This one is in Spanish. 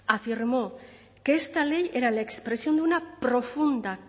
afirmó que esta ley era la expresión de una profunda